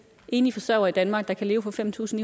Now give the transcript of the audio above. enlige forsørgere i danmark der kan leve for fem tusind